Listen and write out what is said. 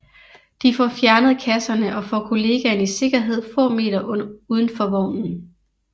De får fjernet kasserne og får kollegaen i sikkerhed få meter uden for vognen